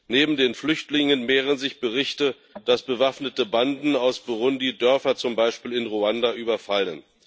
Neben den Flüchtlingen mehren sich Berichte, dass bewaffnete Banden aus Burundi Dörfer, zum Beispiel in Ruanda, überfallen.